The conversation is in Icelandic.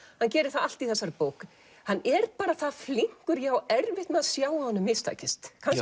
hann gerir það allt í þessari bók hann er það flinkur að ég á erfitt með að sjá að honum mistakist kannski